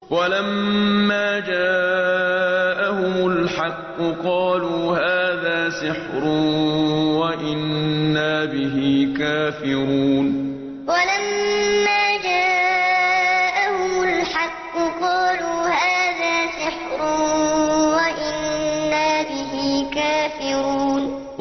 وَلَمَّا جَاءَهُمُ الْحَقُّ قَالُوا هَٰذَا سِحْرٌ وَإِنَّا بِهِ كَافِرُونَ وَلَمَّا جَاءَهُمُ الْحَقُّ قَالُوا هَٰذَا سِحْرٌ وَإِنَّا بِهِ كَافِرُونَ